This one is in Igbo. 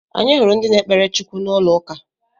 Anyị hụrụ ndị na-ekpere Chukwu n'ụlọ uka